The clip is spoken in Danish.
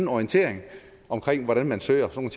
orientering om hvordan man fører sådan